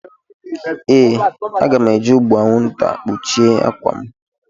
Ee, aga m eji ụgbụ anwụnta kpuchie akwa m.